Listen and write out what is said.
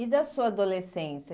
E da sua adolescência?